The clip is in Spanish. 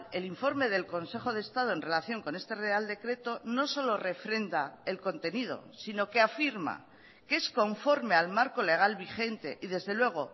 el informe del consejo de estado en relación con este real decreto no solo refrenda el contenido sino que afirma que es conforme al marco legal vigente y desde luego